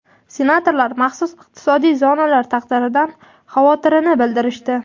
Senatorlar maxsus iqtisodiy zonalar taqdiridan xavotirini bildirishdi.